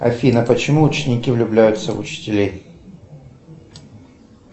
афина почему ученики влюбляются в учителей